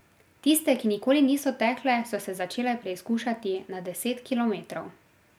Tiste, ki nikoli niso tekle, so se začele preizkušati na deset kilometrov.